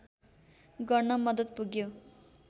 गर्न मद्दत पुग्यो